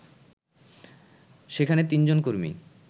সেখানে তিনজন কর্মী